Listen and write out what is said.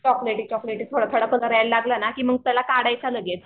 चॉकलेटी चॉकलेटी थोडा थोडा कलर यायला लागला ना की मग त्याला काढायचा लगेच.